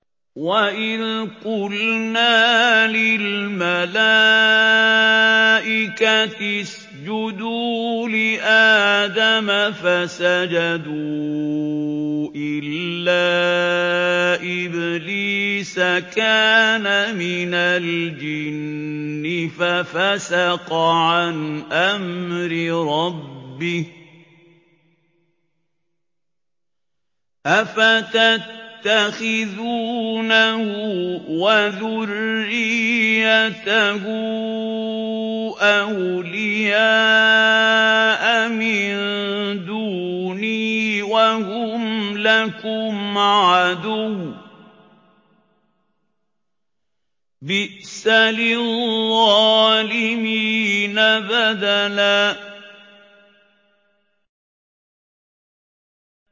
وَإِذْ قُلْنَا لِلْمَلَائِكَةِ اسْجُدُوا لِآدَمَ فَسَجَدُوا إِلَّا إِبْلِيسَ كَانَ مِنَ الْجِنِّ فَفَسَقَ عَنْ أَمْرِ رَبِّهِ ۗ أَفَتَتَّخِذُونَهُ وَذُرِّيَّتَهُ أَوْلِيَاءَ مِن دُونِي وَهُمْ لَكُمْ عَدُوٌّ ۚ بِئْسَ لِلظَّالِمِينَ بَدَلًا